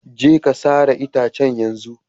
Je ka sare itacen yanzu.